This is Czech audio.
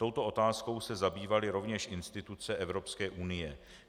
Touto otázkou se zabývaly rovněž instituce Evropské unie.